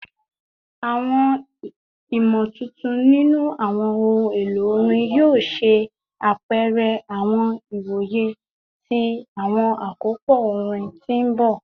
Awọn imotuntun ninu awọn ohun elo orin yoo ṣe apẹrẹ awọn iwoye ti awọn akopọ orin ti n bọ